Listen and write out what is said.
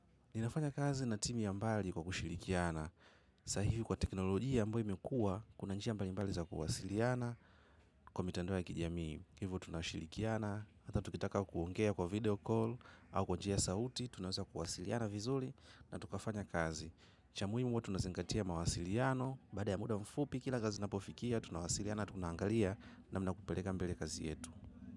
Ninafanya kazi na timu ya mbali kwa kushirikiana. Sahivi kwa teknolojia ambayo imekua, kuna njia mbali mbali za kuhasiliana. Kwa mitandao ya kijamii, hivyo tunashirikiana. Hata tukitaka kuongea kwa video call au kwa njia ya sautitunaweza kuwasiliana vizuri na tukafanya kazi. Cha muhimu huwa tunazingatia mawasiliano. Baada ya muda mfupi kila kazi inapofikia tunawasiliana, tunaangali namna ya kupeleka mbele kazi yangu.